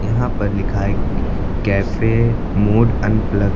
यहां पर लिखा है कैफे मूड अनप्लग ।